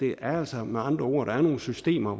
er altså med andre ord nogle systemer